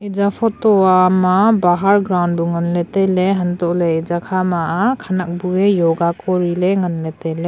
iya photo a ma bahar grown to ngan le tailey untoley iya kha ma khanek bu a yoga kori le ngan le tailey.